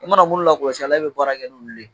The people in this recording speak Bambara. I mana minnu lakɔlɔsi a la, e bɛ baara kɛ n'olu ye